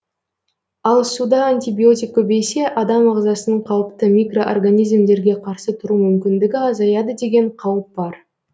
ал суда антибиотик көбейсе адам ағзасының қауіпті микроорганизмдерге қарсы тұру мүмкіндігі азаяды деген қауіп бар